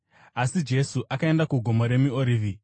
Asi Jesu akaenda kuGomo reMiorivhi.